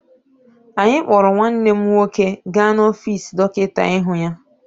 Anyị kpọrọ nwanne m nwoke gaa n'ọfiisi dọkịta ịhụ ya.